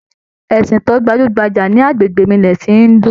Ẹsìn to gbajúgbajà ní agbègbè mi ni ẹsin hindu.